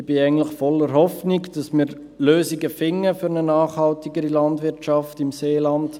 Ich bin eigentlich voller Hoffnung, dass wir Lösung finden für eine nachhaltigere Landwirtschaft im Seeland.